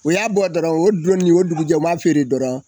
O y'a bɔ dɔrɔn o don n'o dugujɛ o m'a feere dɔrɔn